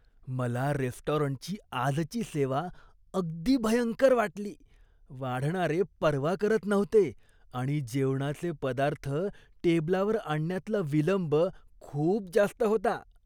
मला रेस्टॉरंटची आजची सेवा अगदी भयंकर वाटली. वाढणारे पर्वा करत नव्हते आणि जेवणाचे पदार्थ टेबलावर आणण्यातला विलंब खूप जास्त होता.